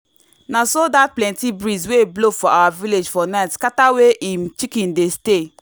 na so dat plenty breeze wey blow for our village for night scatter wey him chicken dey stay.